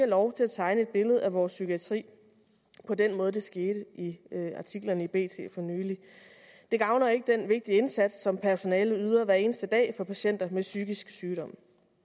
lov til at tegne et billede af vores psykiatri på den måde det skete i artiklerne i bt for nylig det gavner ikke den vigtige indsats som personalet yder hver eneste dag for patienter med psykisk sygdom